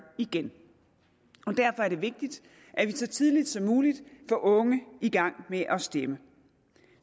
igen derfor er det vigtigt at vi så tidligt som muligt får unge i gang med at stemme